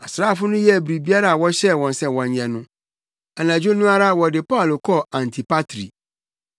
Asraafo no yɛɛ biribiara a wɔhyɛɛ wɔn sɛ wɔnyɛ no. Anadwo no ara wɔde Paulo kɔɔ Antipatri.